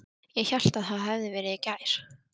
Ég hélt það hefði verið í gær.